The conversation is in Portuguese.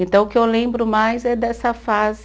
Então o que eu lembro mais é dessa fase